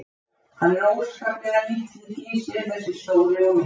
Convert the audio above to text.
Hann er óskaplega lítill í sér þessi stóri og mikli maður.